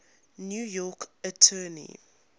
new york attorney